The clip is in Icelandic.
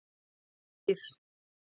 Eir